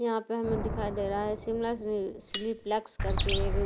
यहां पे हमें दिखाई दे रहा है शिमला चिली फ्लेक्स करके एक --